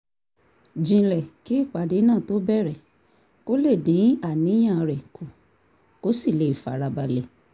jinlẹ̀ kí ìpàdé náà tó bẹ̀rẹ̀ kó lè dín àníyàn rẹ̀ kù kó sì lè fara balẹ̀